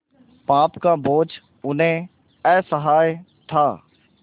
पाप का बोझ उन्हें असह्य था